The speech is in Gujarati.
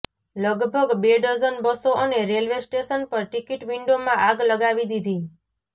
લગભગ બે ડઝન બસો અને રેલવે સ્ટેશન પર ટિકિટ વિન્ડોમાં આગ લગાવી દીધી